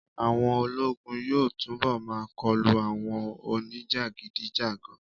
Àwọn ológun yóò túnbọ̀ máa kọlu àwọn oní jàgídíjàgan